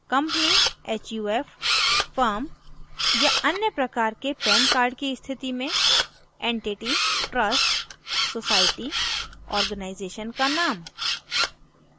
company/huf/firmया any प्रकार के pan cards की स्थिति में entity/trust/society/organization का name